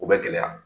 O bɛ gɛlɛya